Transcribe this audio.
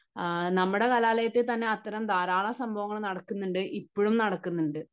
നമ്മുടെ കലാലയത്തിൽ തന്നെ അങ്ങനെ ധാരാളം സംഭവങ്ങൾ നടക്കുന്നുണ്ട്. ഇപ്പോഴും നടക്കുന്നുണ്ട്.